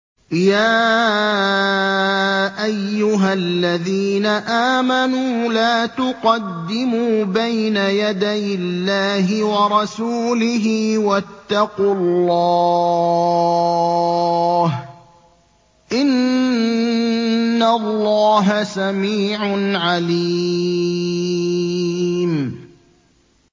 يَا أَيُّهَا الَّذِينَ آمَنُوا لَا تُقَدِّمُوا بَيْنَ يَدَيِ اللَّهِ وَرَسُولِهِ ۖ وَاتَّقُوا اللَّهَ ۚ إِنَّ اللَّهَ سَمِيعٌ عَلِيمٌ